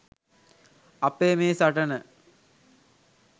අපේ මේ සටන